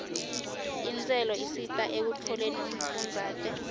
intselo isita ekutfoleni umfundzate